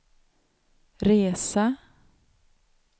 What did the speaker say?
resa